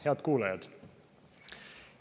Head kuulajad!